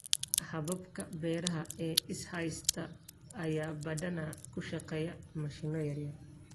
Hababka beeraha ee is haysta ayaa badanaa ku shaqeeya mashiino yar.